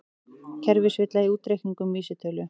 Kerfisvilla í útreikningum vísitölu